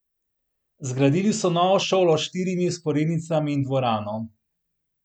Zgradili so novo šolo s štirimi vzporednicami in dvorano.